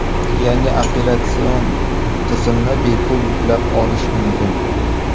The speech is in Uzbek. Yangi operatsion tizimni bepul yuklab olish mumkin.